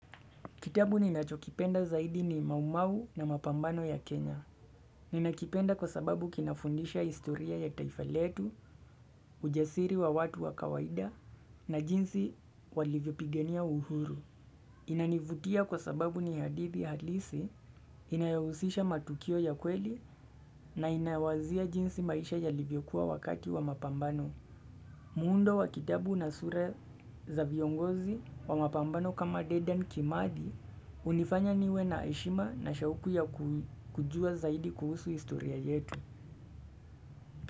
Kitabu ninachokipenda zaidi ni maumau na mapambano ya Kenya. Ninakipenda kwa sababu kinafundisha historia ya taifa letu, ujasiri wa watu wa kawaida na jinsi walivyopigania uhuru. Inanivutia kwa sababu ni hadithi halisi, inayahusisha matukio ya kweli na inawazia jinsi maisha yalivyokuwa wakati wa mapambano. Mundo wa kitabu na sura za viongozi wa mapambano kama dedan kimathi unifanya niwe na ashima na shauku ya kujua zaidi kuhusu historia yetu.